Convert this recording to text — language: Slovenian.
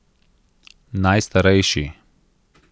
Najstarejši.